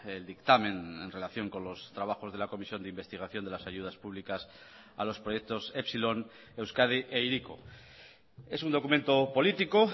el dictamen en relación con los trabajos de la comisión de investigación de las ayudas públicas a los proyectos epsilon euskadi e hiriko es un documento político